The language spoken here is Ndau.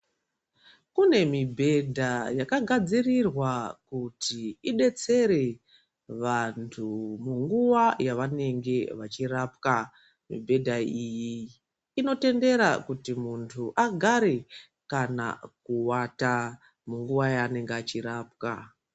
Kune mibhedha yakagadzirirwa kuti idetsere vantu munguva yavanenge vachirapwa. Mibhedha iyi inotendera kuti muntu agare kana kuvata munguva yaanenge achirapwa.